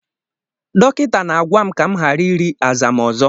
Dọkịta na-agwa m ka m ghara iri azama ọzọ.